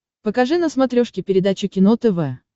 покажи на смотрешке передачу кино тв